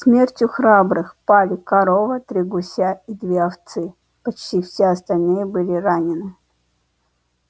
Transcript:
смертью храбрых пали корова три гуся и две овцы почти все остальные были ранены